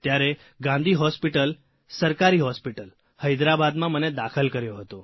ત્યારે ગાંધી હોસ્પીટલ સરકારી હોસ્પીટલ હૈદરાબાદમાં મને દાખલ કર્યો હતો